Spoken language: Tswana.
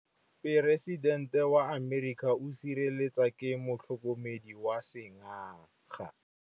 Poresitêntê wa Amerika o sireletswa ke motlhokomedi wa sengaga.